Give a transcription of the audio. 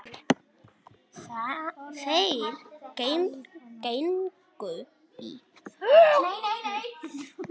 Þeir gengu í þögn.